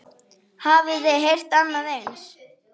Hafiði heyrt annað eins?